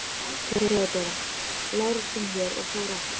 THEODÓRA: Lárus kom hér og fór aftur.